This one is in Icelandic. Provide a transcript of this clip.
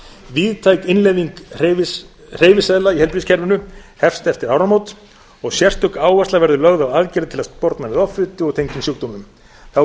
víðtæk innleiðing hreyfiseðla í heilbrigðiskerfinu hefst eftir áramót og sérstök áhersla verður lögð á aðgerðir til að sporna við offitu og tengdum sjúkdómum þá er